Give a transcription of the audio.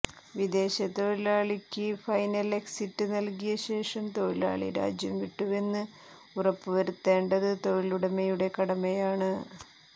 വിദേശ തൊഴിലാളിക്ക് final exit നൽകിയ ശേഷം തൊഴിലാളി രാജ്യം വിട്ടുവെന്ന് ഉറപ്പുവരുത്തേണ്ടത് തൊഴിലുടമയുടെ കടമയാണ്